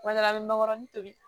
Kuma dɔ la a bɛ mankɔrɔni tobi